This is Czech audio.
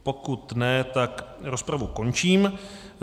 Pokud ne, tak rozpravu končím.